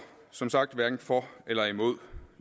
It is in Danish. som sagt hverken for eller imod